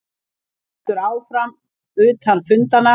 Vinnan heldur þó áfram utan fundanna